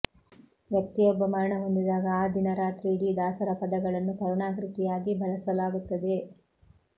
ವ್ಯಕ್ತ್ತಿಯೊಬ್ಬ ಮರಣ ಹೊಂದಿದಾಗ ಆ ದಿನ ರಾತ್ರಿ ಇಡೀ ದಾಸರ ಪದಗಳನ್ನು ಕರುಣಾಕೃತಿಯಾಗಿ ಬಳಸಲಾಗುತ್ತದೆ